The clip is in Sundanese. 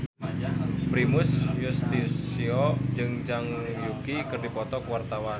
Primus Yustisio jeung Zhang Yuqi keur dipoto ku wartawan